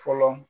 Fɔlɔ